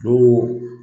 O